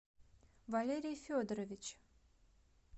валерий федорович